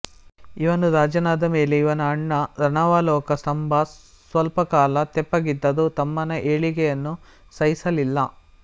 ಇವನು ರಾಜನಾದ ಮೇಲೆ ಇವನ ಅಣ್ಣ ರಣಾವಲೋಕ ಸ್ತಂಭ ಸ್ವಲ್ಪಕಾಲ ತೆಪ್ಪಗಿದ್ದರೂ ತಮ್ಮನ ಏಳಿಗೆಯನ್ನು ಸಹಿಸಲಿಲ್ಲ